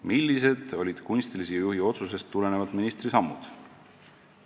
"Millised olid kunstilise juhi otsusest tulenevalt ministri sammud?